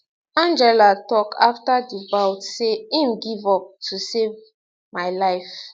angela tok afta di bout say im give up to save my life